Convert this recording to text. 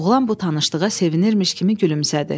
Oğlan bu tanışlığa sevinirmiş kimi gülümsədi.